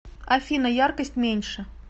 афина яркость меньше